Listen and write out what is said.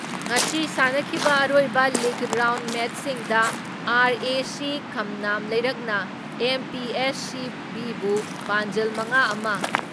ꯉꯁꯤ ꯁꯥꯟꯅꯈꯤꯕ ꯑꯔꯣꯏꯕ ꯂꯤꯒ ꯔꯥꯎꯟ ꯃꯦꯠꯁꯤꯡꯗ ꯑꯥꯔ.ꯑꯦ.ꯁꯤ ꯈꯝꯅꯥꯝ ꯂꯩꯔꯛꯅ ꯑꯦꯝ.ꯄꯤ.ꯑꯦꯁ.ꯁꯤꯕꯤꯕꯨ ꯄꯥꯟꯖꯜ ꯃꯉꯥ ꯑꯃ ,